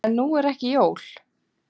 En nú eru ekki jól.